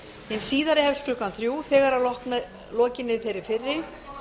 hið síðari hefst klukkan þrjú þegar að lokinni þeirri fyrri